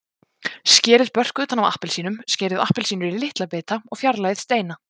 Skerið börk utan af appelsínum, skerið appelsínur í litla bita og fjarlægið steina.